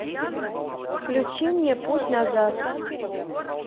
включи мне путь назад